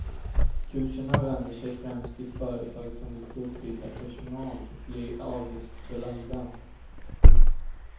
Kurserna vänder sig främst till företag som vill fortbilda personal och blir avgiftsbelagda.